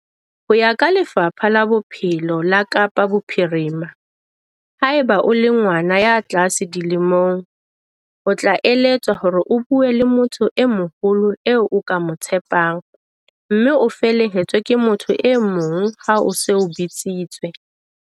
Ho ya ka Lefapha la Bophelo la Kapa Bophirima, haeba o le ngwana ya tlase dilemong, o tla eletswa hore o bue le motho e moholo eo o ka mo tshepang, mme o felehetswe ke motho e mong ha o se o bitsitswe.